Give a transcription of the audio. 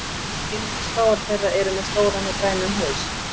Einungis fáar þeirra eru með stóran og grænan haus.